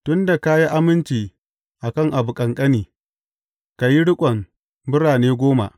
Tun da ka yi aminci a kan abu ƙanƙani, ka yi riƙon birane goma.’